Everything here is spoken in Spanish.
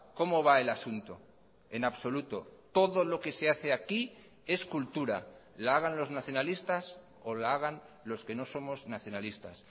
cómo va el asunto en absoluto todo lo que se hace aquí es cultura la hagan los nacionalistas o la hagan los que no somos nacionalistas